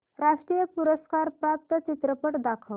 राष्ट्रीय पुरस्कार प्राप्त चित्रपट दाखव